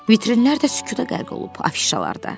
Vitrinlər də sükuta qərq olub, afişalar da.